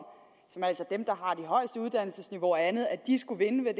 at uddannelsesniveau og andet skulle vinde ved